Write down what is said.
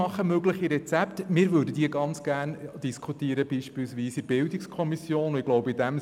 Zu den möglichen Rezepten: Diese würden wir beispielsweise sehr gerne in der BiK diskutieren.